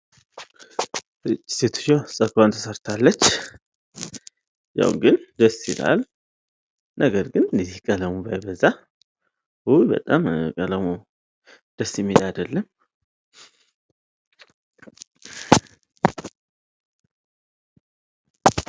ሴትዬዋ ጸጉሯን ተሰርታለች ፤ያው ግን ደስ ይላል። ነገር ግን እነዚህ ቀለሙ ባይበዛ። በጣም ቀለሙ የሚል አይደለም።